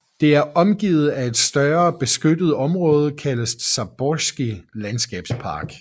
Det er omgivet af et større beskyttet område kaldet Zaborski Landskabspark